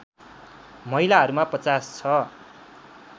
महिलाहरूमा ५० छ